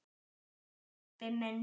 Bless, pabbi minn.